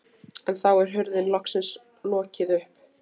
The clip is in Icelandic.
En þá er hurðinni loksins lokið upp.